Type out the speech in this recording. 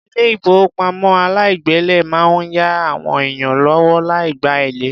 Ilé ìfowópamọ́ aláìgbèlé máa ń ya àwọn èèyàn lówó láì gba èlé.